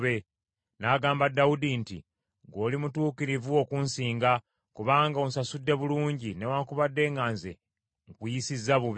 N’agamba Dawudi nti, “Ggwe oli mutuukirivu okunsinga, kubanga onsasudde bulungi, newaakubadde nga nze nkuyisizza bubi.